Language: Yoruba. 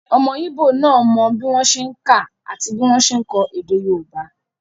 Ọmọ íbò náà mọ bí wọ́n ṣe n kà àti bí wọ́n ṣe n kọ èdè yóòbá